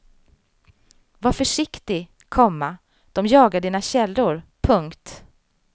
Var försiktig, komma de jagar dina källor. punkt